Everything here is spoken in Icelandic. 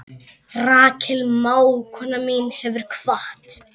Rakel mágkona mín hefur kvatt.